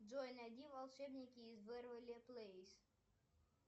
джой найди волшебники из вэйверли плэйс